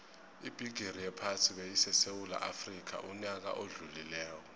ibigixi yephasi beyisesewula afxica uyaka odlulile